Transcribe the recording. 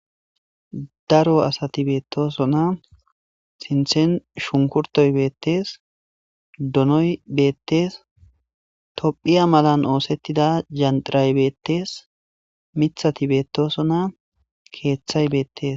Daro asati betosona, sinthen shunkurtoy bettes, donoy beetes,tophiya malan osettida dzantilay beetes,mithatii betosona ,kethay beetes